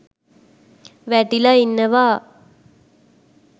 වැටිලා ඉන්නවා